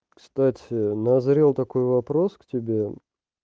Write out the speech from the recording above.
кстати назрел такой вопрос к тебе